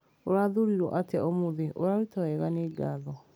Ũrathurirwo atĩa ũmũthĩ ũraruta wega nĩ ngatho.